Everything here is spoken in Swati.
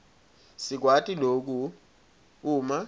sikwati loku uma